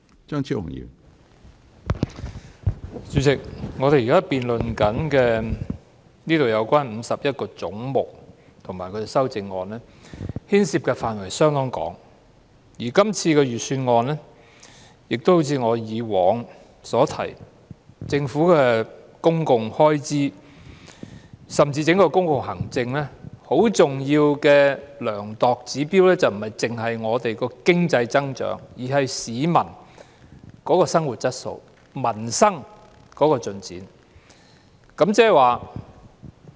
主席，我們現時辯論有關51個總目的修正案，牽涉的範圍相當廣泛，而今次的財政預算案亦好像我以往所說，就政府的公共開支——甚至整個公共行政——是否恰當，很重要的量度指標不單是本港的經濟增長，還有市民的生活質素、民生的進展。